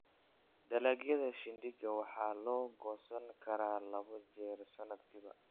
Dalagyada shindigga waxaa la goosan karaa labo jeer sanadkiiba.